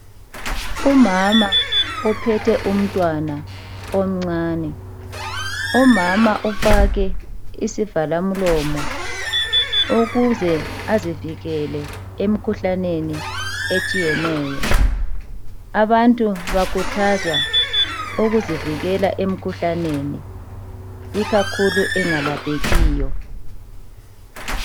Umama ophethe umntwana omncane, umama ufake isivalamlomo ukuze azivikele emikhuhlaneni etshiyeneyo, abantu bakhuthazwa ukuzivikela emkhuhlaneni ikakhulu engalaphekiyo.